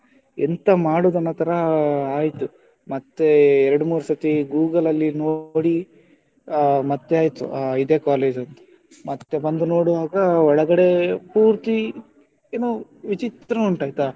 ಎಂತ ಮಾಡುದು ಅನ್ನೋ ತರ ಆ ಆಯ್ತು, ಮತ್ತೆ ಎರಡು ಮೂರು ಸರ್ತಿ Google ಅಲ್ಲಿ ನೋಡಿ ಮತ್ತೆ ಆಯ್ತು ಹಾ ಇದೆ college ಅಂತ ಮತ್ತೆ ಬಂದು ನೋಡುವಾಗ ಒಳಗಡೆ ಪೂರ್ತಿ ಏನೋ ವಿಚಿತ್ರ ಉಂಟು ಆಯ್ತಾ.